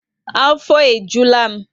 Afo e jula m